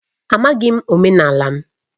Amaghị m omenala m.